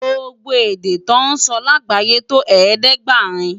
Gbógbó èdè tò nsò lágbáyé tó ẹ̀ẹ́dẹ́ɡbarin